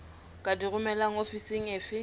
di ka romelwa ofising efe